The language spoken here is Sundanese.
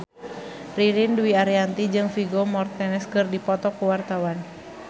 Ririn Dwi Ariyanti jeung Vigo Mortensen keur dipoto ku wartawan